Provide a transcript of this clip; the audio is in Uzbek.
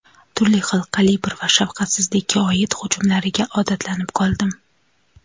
turli xil kalibr va shafqatsizlikka oid hujumlariga odatlanib qoldim.